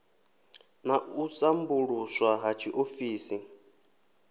na u sambuluswa ha tshiofisi